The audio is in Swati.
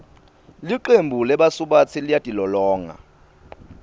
licembu lebasubatsi liyatilolonga